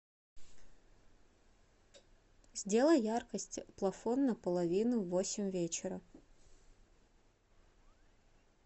сделай яркость плафон на половину в восемь вечера